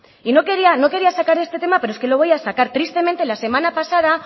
y no quería sacar este tema pero es que lo voy a sacar tristemente la semana pasada